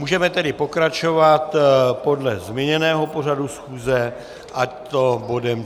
Můžeme tedy pokračovat podle změněného pořadu schůze, a to bodem